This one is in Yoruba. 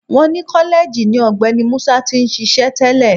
Wọ́n ni kọ́lẹ́ẹ̀jì ni Ọ̀gbẹ́ni Musa ti ń ṣíṣe tẹ́lẹ̀